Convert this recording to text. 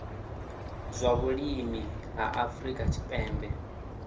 zwa vhulimi ha afrika tshipembe